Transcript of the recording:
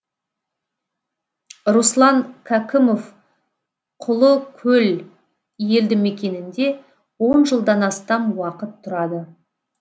руслан кәкімов құлыкөл елді мекенінде он жылдан астам уақыт тұрады